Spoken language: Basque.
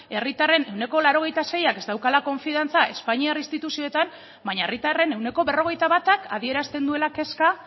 herritarren ehuneko laurogeita seiak ez daukala konfiantza espainiar instituzioetan baina herritarren ehuneko berrogeita batak adierazten duela kezka